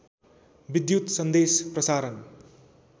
विद्युत् सन्देश प्रसारण